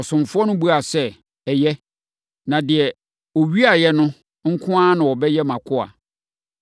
Ɔsomfoɔ no buaa sɛ, “Ɛyɛ, na deɛ ɔwiaeɛ no nko na ɔbɛyɛ mʼakoa. Na mo a moaka no bɛfa mo ho adi.”